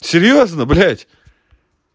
серьёзно блядь